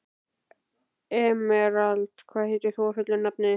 Emerald, hvað heitir þú fullu nafni?